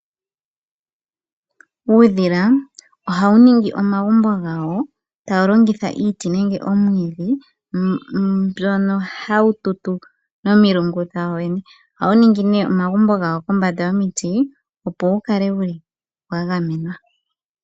Uudhila ohawu ningi omagumbo gawo tawu longitha iiti nenge omwiidhi. Mbyono hawu tutu nomilungu dhawo yoyene. Ohawu ningi nee omagumbo gawo kombanda yomiiti opo wu kale wuli wa gamenwa.